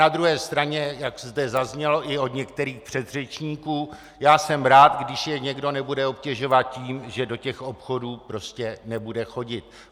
Na druhé straně, jak zde zaznělo i od některých předřečníků, já jsem rád, když je někdo nebude obtěžovat tím, že do těch obchodů prostě nebude chodit.